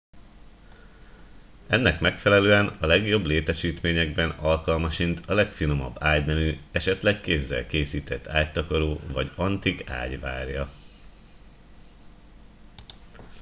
ennek megfelelően a legjobb létesítményekben alkalmasint a legfinomabb ágynemű esetleg kézzel készített ágytakaró vagy antik ágy várja